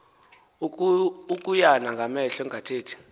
ukuyana ngamehlo engathethi